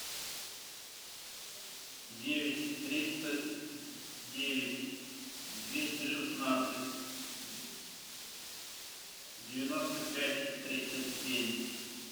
девять триста девять двести шестнадцать девяносто пять тридцать семь